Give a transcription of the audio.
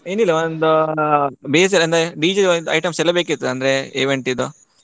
ಏನಿಲ್ಲ ಒಂದು basic ಅಂದ್ರೆ DJ ದು items ಎಲ್ಲ ಬೇಕಿತ್ತು ಅಂದ್ರೆ event ದ್ದು.